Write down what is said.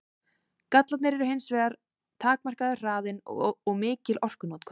Gallarnir eru hins vegar takmarkaður hraðinn og mikil orkunotkun.